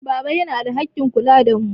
Baba yana da haƙƙin kula da mu.